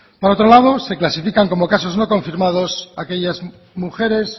por otro lado se clasifican como casos no confirmados aquellas mujeres